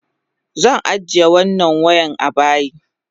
Zan ajiye wannan wayan abayi.